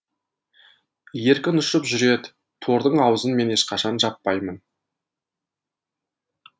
еркін ұшып жүреді тордың аузын мен ешқашан жаппаймын